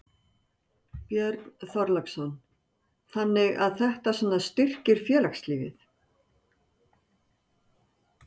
Björn Þorláksson: Þannig að þetta svona styrkir félagslífið?